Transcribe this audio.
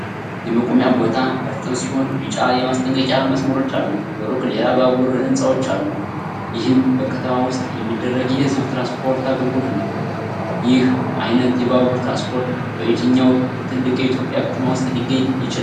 የመቆሚያው ቦታ እርጥብ ሲሆን ቢጫ የማስጠንቀቂያ መስመሮች አሉት። በሩቅ ሌላ ባቡርና ሕንፃዎች አሉ፤ ይህም በከተማ ውስጥ የሚደረግ የሕዝብ ትራንስፖርት አገልግሎት ነው። ይህ አይነት የባቡር ትራንስፖርት በየትኛው ትልቅ የኢትዮጵያ ከተማ ውስጥ ሊገኝ ይችላል?